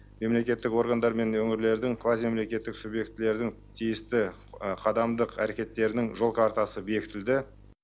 мемлекеттік органдар мен өңірлердің квазимемлекеттік субъектілердің тиісті қадамдық әрекеттерінің жол картасы бекітілді